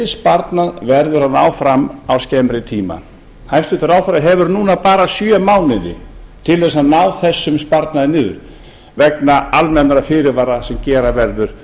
sparnað verður að ná fram á skemmri tíma hæstvirtur ráðherra hefur núna bara sjö mánuði til þess að ná þessum sparnaði niður vegna almennra fyrirvara sem gera verður